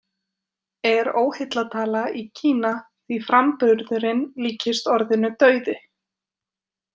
Er óheillatala í Kína því framburðurinn líkist orðinu „dauði“.